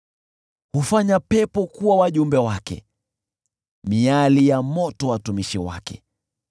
Huzifanya pepo kuwa wajumbe wake, miali ya moto watumishi wake.